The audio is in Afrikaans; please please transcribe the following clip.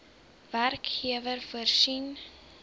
werkgewer voorsien